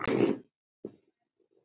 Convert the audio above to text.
Síðan var lagt af stað.